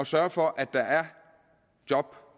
sørge for at der er job